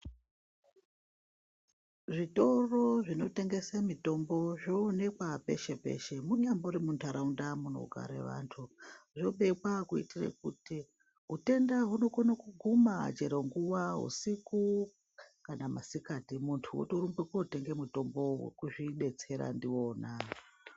Zvitoro zvinotengese mutombo zvoonekwa peshe peshe kunyangwe munyambori mundaraunda munogare antu .Zvopekwa kuitira kuti utenda hunokone kuguma chero usiku kana masikati muntu otorumba kotenga mutombo wokuzvidetsera ndiona.